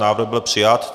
Návrh byl přijat.